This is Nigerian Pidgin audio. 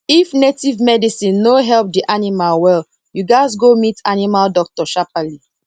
if native medicine no help di animal well you gats go meet animal doctor sharperly